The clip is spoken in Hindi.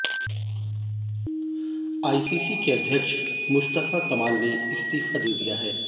आईसीसी के अध्यक्ष मुस्तफ़ा कमाल ने इस्तीफ़ा दे दिया है